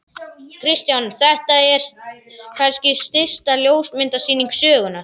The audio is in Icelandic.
Kristján: Þetta er kannski stysta ljósmyndasýning sögunnar?